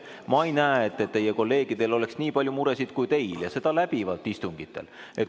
Ma ei näe, et teie kolleegidel oleks nii palju muresid kui teil, ja seda läbivalt istungitel.